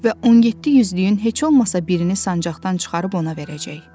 Və 17 yüzlüyün heç olmasa birini sancaqdan çıxarıb ona verəcək.